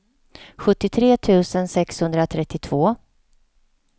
sjuttiotre tusen sexhundratrettiotvå